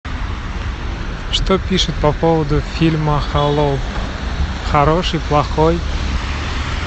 что пишут по поводу фильма холоп хороший плохой